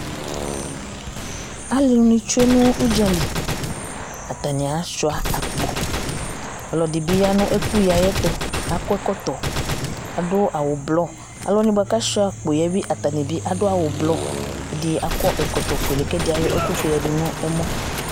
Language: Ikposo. alu ni tsue no udzali atani asua akpo ɔlò ɛdi bi ya no ɛkuyi ayi ɛto akɔ ɛkɔtɔ adu awu ublɔ alòwani boa k'asua akpo yɛ bi atani bi adu awu blu ɛdi akɔ ɛkɔtɔ fuele k'ɛdi ayɔ ɛkò fue ya du no ɛmɔ